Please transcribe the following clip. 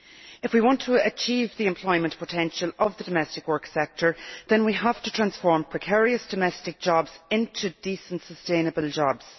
If we want to achieve the employment potential of the domestic work sector then we have to transform precarious domestic jobs into decent sustainable jobs.